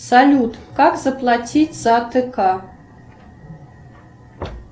салют как заплатить за тк